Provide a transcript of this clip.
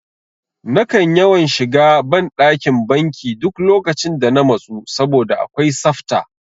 Nakan yawan shiga ban ɗakin banki duk lokacin da na matsu saboda akwai safta